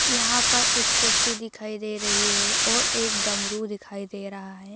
यहाँ पर एक कुर्सी दिखाई दे रही है और एक डमरू दिखाई दे रहा है।